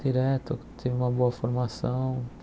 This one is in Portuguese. Direto tive uma boa formação.